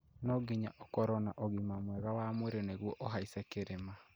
No nginya ũkorwo no ũgima mwega wa mwĩrĩ nĩguo ũhaice kĩrĩma